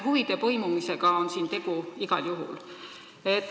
Huvide põimumisega on siin tegu igal juhul.